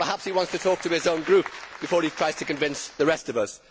So perhaps he wants to talk to his own Group before he tries to convince the rest of us.